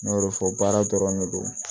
N y'o de fɔ baara dɔrɔn ne don